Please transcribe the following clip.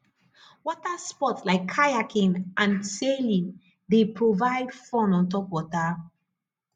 water sports like kayaking and sailing dey provide fun on top water